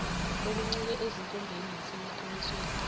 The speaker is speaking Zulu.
okuncike ezinkombeni nasemaqinisweni